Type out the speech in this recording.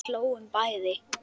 Við hlógum bæði.